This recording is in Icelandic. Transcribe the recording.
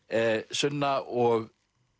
sunna og